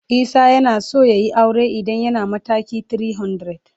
Isah yanaso yayi aure idan yana matakin 300.